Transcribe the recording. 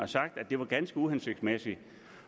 sagt at det var ganske uhensigtsmæssigt